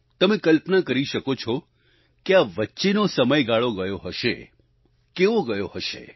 તમે કલ્પના કરી શકો છો કે આ વચ્ચેનો સમયગાળો ગયો હશે કેવો ગયો હશે